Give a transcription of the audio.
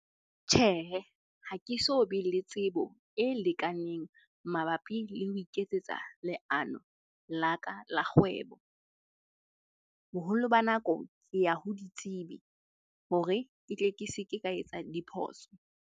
Tjhehe, ha ke so be le tsebo e lekaneng mabapi le ho iketsetsa leano la ka la kgwebo. Boholo ba nako ke ya ho ditsebi hore ke tle ke se ke ka etsa diphoso.